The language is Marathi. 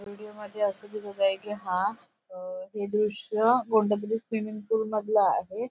विडीओ मध्ये अस दिसत आहे कि हा अ हे दृश्य कोणत्यातरी स्विमिंग पूल मधल आहे.